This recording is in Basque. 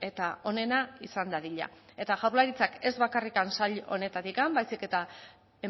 eta onena izan dadila eta jaurlaritzak ez bakarrik sail honetatik baizik eta